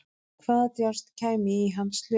Hvaða djásn kæmi í hans hlut?